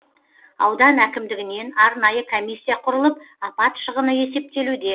аудан әкімдігінен арнайы комиссия құрылып апат шығыны есептелуде